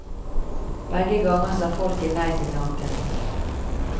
Begge ganger sa folket nei til tanken.